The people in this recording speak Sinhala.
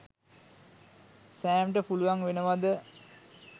සෑම්ට පුළුවන් වෙනවද